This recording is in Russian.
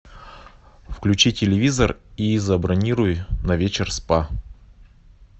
включи телевизор и забронируй на вечер спа